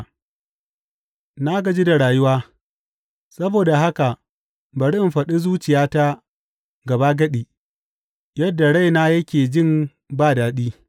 Na gaji da rayuwa; saboda haka bari in faɗi zuciyata gabagadi yadda raina yake jin ba daɗi.